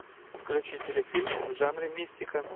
включи телефильм в жанре мистика